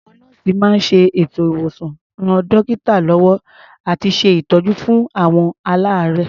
Àwọn nọ́ọ̀sì máa ń ṣètò ìwòsàn, ran dọ́kítà lọ́wọ́ àti ṣe ìtọ́jú fún àwọn aláàárẹ̀.